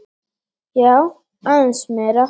Já, aðeins meira.